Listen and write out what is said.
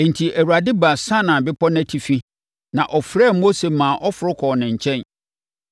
Enti, Awurade baa Sinai Bepɔ no atifi, na ɔfrɛɛ Mose maa ɔforo kɔɔ ne nkyɛn.